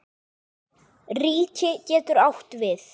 Ríki getur átt við